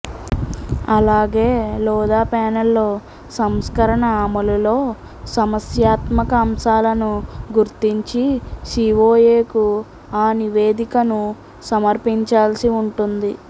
అలాగే లోధా ప్యానెల్లో సంస్కరణ అమలులో సమస్యాత్మక అంశాలను గుర్తించి సిఒఎకు ఆ నివేదికను సమర్పించాల్సి ఉంటుంది